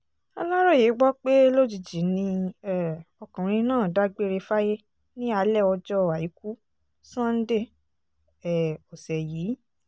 aláròye gbọ́ pé lójijì ni um ọkùnrin náà dágbére fáyé ní alẹ́ ọjọ́ àìkú sánńdé um ọ̀sẹ̀ yìí